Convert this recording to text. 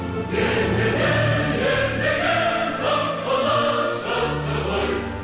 ежелден ер деген даңқымыз шықты ғой